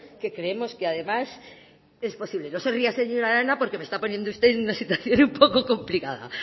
que creemos que además es posible no se ría señora arana porque me está poniendo usted en una situación un poco complicada